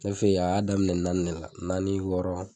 Ke fɛ a y'a daminɛ naani ne la naani wɔɔrɔ.